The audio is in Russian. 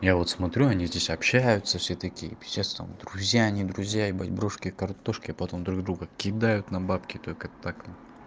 я вот смотрю они здесь общаются все такие пиздец там друзья не друзья ебать брошки картошки а потом друг друга кидают на бабки только так